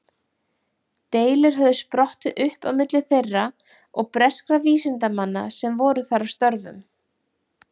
Deilur höfðu sprottið upp á milli þeirra og breskra vísindamanna sem voru þar að störfum.